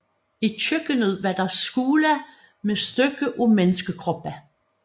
I køkkenet var der skåle med stykker af menneskekroppe